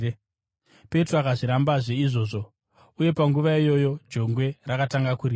Petro akazvirambazve izvozvo, uye panguva iyoyo jongwe rakatanga kurira.